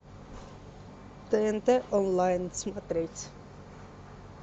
тнт онлайн смотреть